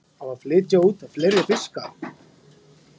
Á að flytja út fleiri fiska